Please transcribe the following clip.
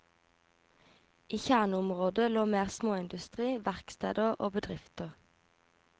I kjerneområdet lå mer småindustri, verksteder og bedrifter.